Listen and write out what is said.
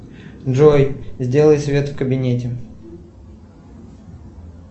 джой сделай свет в кабинете